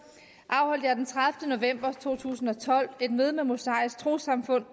afholdt jeg den tredivete november to tusind og tolv et møde med det mosaiske troessamfund